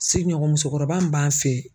Sigiɲɔgɔn musokɔrɔba min b'an fɛ yen.